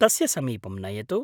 तस्य समीपं नयतु।